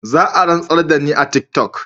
Zaa rantsar dani a tiktok.